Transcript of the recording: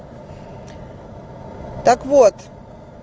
так вот